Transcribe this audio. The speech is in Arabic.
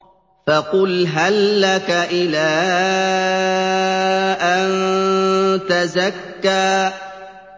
فَقُلْ هَل لَّكَ إِلَىٰ أَن تَزَكَّىٰ